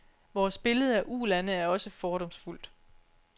Vores billede af ulande er også fordomsfuldt.